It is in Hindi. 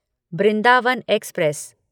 बृंदावन एक्सप्रेस